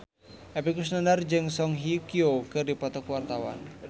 Epy Kusnandar jeung Song Hye Kyo keur dipoto ku wartawan